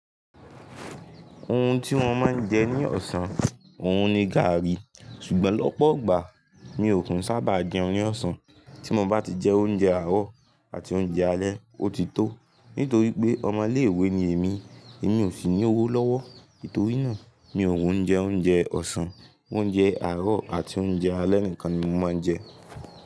Ohun tí wọ́n máa ń jẹ ní ọ̀sán, òun ni gààrí. Ṣùgbọ́n lọ́pọ̀ ọ gbàá mi ò kun sábà jẹun ní ọ̀sán. Tí mo bá ti jẹ oúnjẹ àárọ̀ àti oúnjẹ alẹ́, ó ti tó. Nítorí pé ọmọ ilé ìwé ni èmi, èmi ò sì ní owó lọ́wọ́. Nítorí náà, mi ò wùn jẹ oúnjẹ ọ̀sán. Oúnjẹ àárọ̀ àti oúnjẹ alẹ́ nìkan ni mo máa ń jẹ.